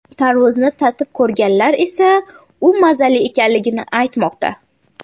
Tarvuzni tatib ko‘rganlar esa u mazali ekanligini aytmoqda.